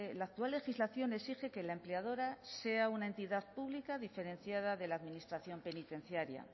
la actual legislación exige que la empleadora sea una entidad pública diferenciada de la administración penitenciaria